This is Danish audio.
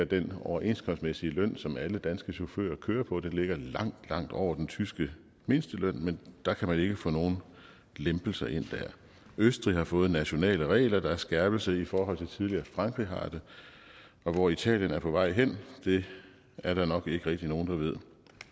den overenskomstmæssige løn som alle danske chauffører kører på ligger langt langt over den tyske mindsteløn men der kan man ikke få nogen lempelser ind østrig har fået nationale regler der er en skærpelse i forhold til tidligere frankrig har det og hvor italien er på vej hen er der nok ikke rigtig nogen der ved